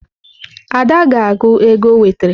Ada ga-agụ ego o nwetara.